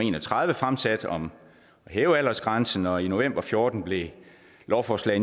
en og tredive fremsat om at hæve aldersgrænsen og i november fjorten blev lovforslag